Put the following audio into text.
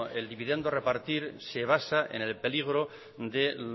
el dividendo a repartir se basa en el peligro de